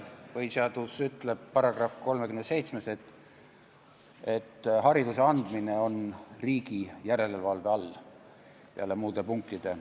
Põhiseaduse § 37 ütleb peale muude punktide, et hariduse andmine on riigi järelevalve all.